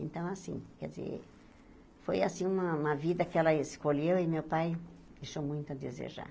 Então, assim, quer dizer, foi assim uma uma vida que ela escolheu e meu pai deixou muito a desejar.